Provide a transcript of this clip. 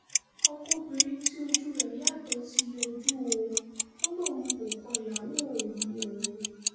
ọkọ obìnrin tí ojú rẹ̀ yàtọ̀ ti yọjú o ò lóun kò kọ ìyàwó òun o